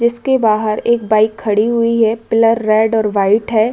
इसके बाहर एक बाइक खड़ी हुई है। पिलर रेड और वाइट है।